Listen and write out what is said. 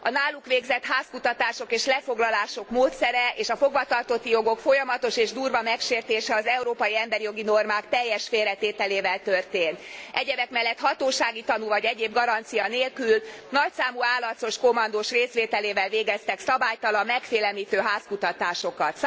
A náluk végzett házkutatások és lefoglalások módszere és a fogvatartotti jogok folyamatos és durva megsértése az európai emberi jogi normák teljes félre tételével történt. Egyebek mellett hatósági tanú vagy egyéb garancia nélkül, nagyszámú álarcos kommandós részvételével végeztek szabálytalan, megfélemlítő házkutatásokat.